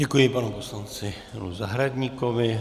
Děkuji panu poslanci Janu Zahradníkovi.